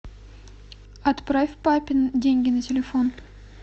отправь папе деньги на телефон